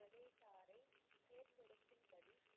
ஜதேதாரை தேர்ந்தெடுக்கும்படி